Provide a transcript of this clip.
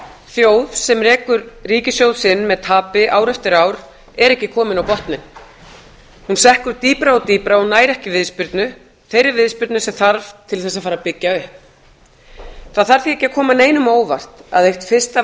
þjóð sem rekur ríkissjóð sinn með tapi ár eftir ár er ekki komin á botninn hún sekkur dýpra og dýpra og nær ekki viðspyrnu þeirri viðspyrnu sem þarf til þess að fara að byggja upp það þarf því ekki að koma neinum á óvart að eitt fyrsta